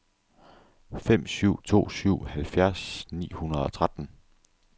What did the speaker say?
fem syv to syv halvfjerds ni hundrede og tretten